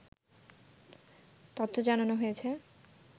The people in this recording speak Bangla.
তথ্য জানানো হয়েছে